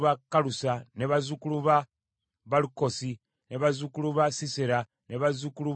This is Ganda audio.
bazzukulu ba Balukosi, bazzukulu ba Sisera, bazzukulu ba Tema,